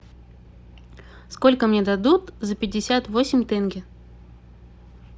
сколько мне дадут за пятьдесят восемь тенге